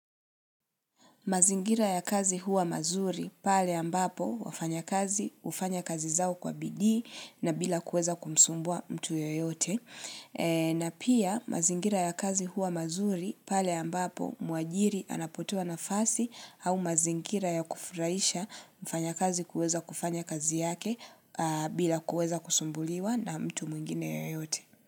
Mazingira ya kazi huwa mazuri pale ambapo wafanya kazi hufanya kazi zao kwa bidii na bila kuweza kumsumbua mtu yoyote. Na pia mazingira ya kazi huwa mazuri pale ambapo muajiri anapotua nafasi au mazingira ya kufurahisha mfanya kazi kuweza kufanya kazi yake bila kuweza kusumbuliwa na mtu mwingine yoyote.